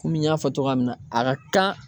Komi n y'a fɔ cogoya min na a ka kan.